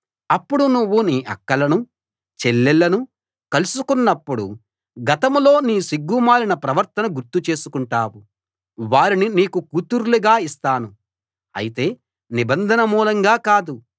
అప్పుడు నువ్వు నీ అక్కలను చెల్లెళ్ళను కలుసుకున్నప్పుడు గతంలో నీ సిగ్గుమాలిన ప్రవర్తన గుర్తు చేసుకుంటావు వారిని నీకు కూతుర్లుగా ఇస్తాను అయితే నిబంధన మూలంగా కాదు